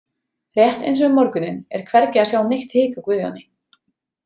Rétt eins og um morguninn er hvergi að sjá neitt hik á Guðjóni.